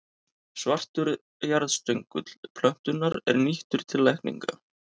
Svartur jarðstöngull plöntunnar er nýttur til lækninga.